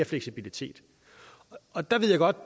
fleksibilitet og der ved jeg godt